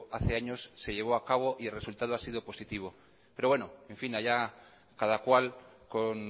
hace años se llevó a cabo y el resultado ha sido positivo pero bueno en fin allá cada cual con